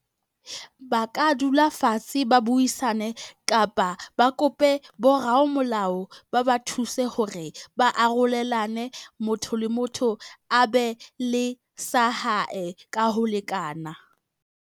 Ba ka dula fatshe ba buisane kapa ba kope boramolao, ba ba thuse hore ba arolelane motho le motho a be le sa hae ka ho lekana.